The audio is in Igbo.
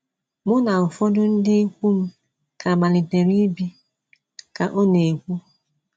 “ Mụ na ụfọdụ ndị ikwu m ka malitere ibi, ” ka ọ na - ekwu.